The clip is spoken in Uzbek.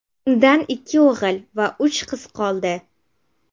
Undan ikki o‘g‘il va uch qiz qoldi.